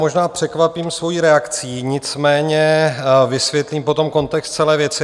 Možná překvapím svojí reakcí, nicméně vysvětlím potom kontext celé věci.